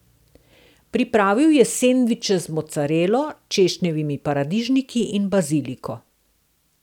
Pripravil je sendviče z mocarelo, češnjevimi paradižniki in baziliko.